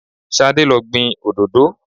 Ṣadé lo gbìn òdòdó.